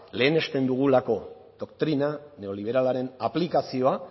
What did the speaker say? lehenesten dugulako doktrina neoliberalaren aplikazioa